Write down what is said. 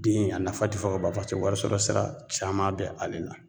Den a nafa ti fɔ ka ban. Paseke wari sɔrɔ sira caman be ale la.